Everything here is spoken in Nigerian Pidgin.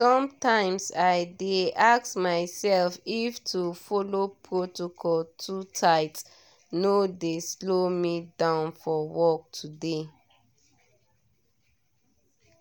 sometimes i dey ask myself if to follow protocol too tight no dey slow me down for work today.